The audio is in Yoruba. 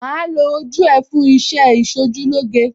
Màá lo ojú ẹ fún iṣẹ́ Ìṣojúlóge.